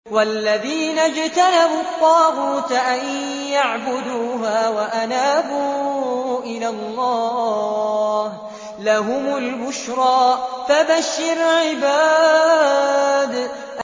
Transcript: وَالَّذِينَ اجْتَنَبُوا الطَّاغُوتَ أَن يَعْبُدُوهَا وَأَنَابُوا إِلَى اللَّهِ لَهُمُ الْبُشْرَىٰ ۚ فَبَشِّرْ عِبَادِ